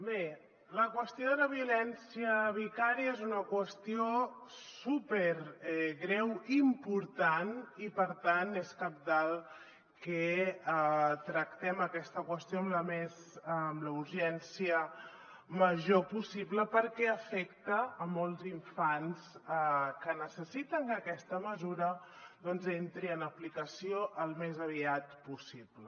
bé la qüestió de la violència vicària és una qüestió supergreu i important i per tant és cabdal que tractem aquesta qüestió amb la urgència major possible perquè afecta molts infants que necessiten que aquesta mesura doncs entri en aplicació al més aviat possible